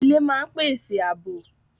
Ilé máa ń pèsè àbò